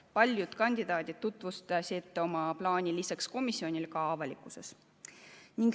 Paljud kandidaadid tutvustasid oma plaani lisaks komisjonile avalikkuses.